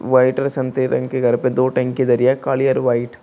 White और संतरी रंग के घर पे दो टंकी धरी ऐं काली और वाइट ।